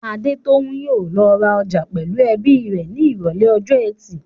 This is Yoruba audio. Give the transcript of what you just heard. Adetoun yóò lọ ra ọjà pẹ̀lú ẹbí rẹ̀ ní Ìrọ̀lẹ́ ọjọ́ ẹtì.